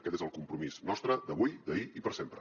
aquest és el compromís nostre d’avui d’ahir i per sempre